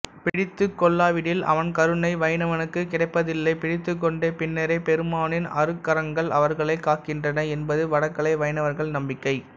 பிடித்துக்கொள்ளாவிடில் அவன் கருணை வைணவனுக்குக் கிடைப்பதில்லை பிடித்துக்கொண்ட பின்னரே பெருமாளின் அருட்கரங்கள் அவர்களைக் காக்கின்றன என்பது வடகலை வைணவர்கள் நம்பிக்கை